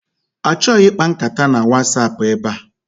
Achọghị ịkpa nkata na Wasapụ ebe a!